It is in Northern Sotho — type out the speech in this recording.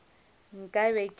nka be ke le wena